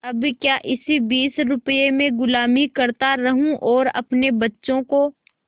अब क्या इसी बीस रुपये में गुलामी करता रहूँ और अपने बच्चों को